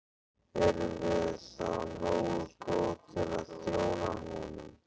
Erum við þá nógu góð til að þjóna honum?